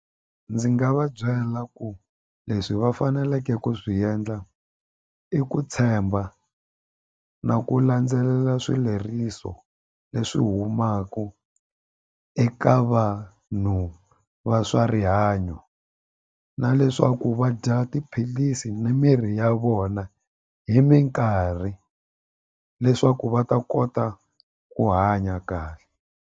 Ndzi nga va byela ku leswi va faneleke ku swi endla i ku tshemba na ku landzelela swileriso leswi humaka eka vanhu va swa rihanyo na leswaku va dya tiphilisi ni mirhi ya vona hi minkarhi leswaku va ta kota ku hanya kahle.